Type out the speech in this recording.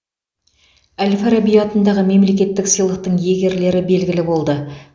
әл фараби атындағы мемлекеттік сыйлықтың иегерлері белгілі болды